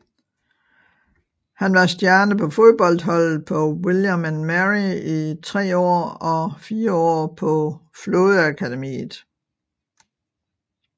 Han var stjerne på fodboldholdet på William and Mary i tre år og fire år på flådeakademiet